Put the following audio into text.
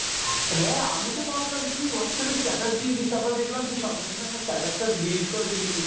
হ্যাঁ, আমিতো ভাবলাম তুই Whatsapp এ status দিয়েছিস তারপর দেখলাম তুই সঙ্গে সঙ্গে status টা delete করে দিলি।